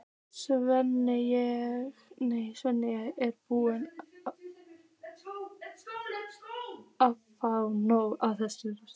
Svenni er búinn að fá nóg af þessu rugli.